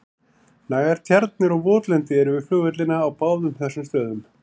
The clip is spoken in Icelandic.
Nægar tjarnir og votlendi eru við flugvellina á báðum þessum stöðum.